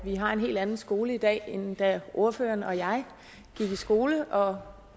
at vi har en helt anden skole i dag end da ordføreren og jeg gik i skole og